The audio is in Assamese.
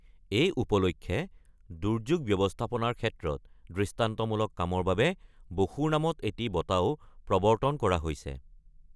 এই উপলক্ষে দুৰ্যোগ ব্যৱস্থাপনাৰ ক্ষেত্ৰত দৃষ্টান্তমূলক কামৰ বাবে বসুৰ নামত এটি বঁটাও প্ৰৱৰ্তন কৰা হৈছে।